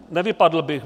Nevypadl bych.